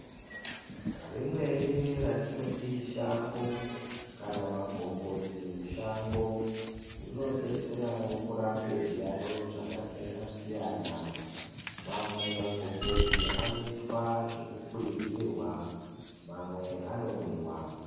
Rimweni ratinoti shango kana magomboti mushango rinobetseravo kurape zviyaiyo zvakasiyana-siyana. Mamwe magomboti anoitwa zvekukwizirwa mamwe anomwiwa.